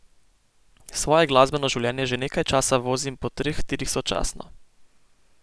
Svoje glasbeno življenje že nekaj časa vozim po treh tirih sočasno.